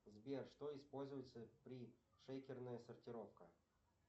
сбер что используется при шейкерная сортировка